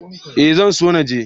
Ee zan so na je.